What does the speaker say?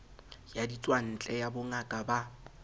ya ditswantle ya bongaka ba